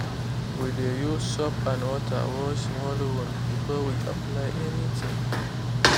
we dey use soap and water wash small wound before we apply anything.